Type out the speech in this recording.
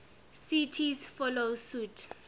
cities follow suit